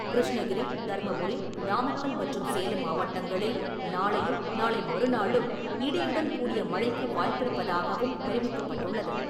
கிருஷ்ணகிரி, தர்மபுரி, நாமக்கல் மற்றும் சேலம் மாவட்டங்களில் நாளையும், நாளை மறுநாளும் இடியுடன் கூடிய மழைக்கு வாய்ப்பிருப்பதாகவும் தெரிவிக்கப்பட்டுள்ளது.